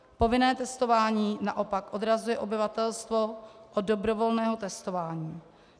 Povinné testování naopak odrazuje obyvatelstvo od dobrovolného testování.